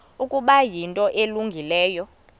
ukuba yinto elungileyo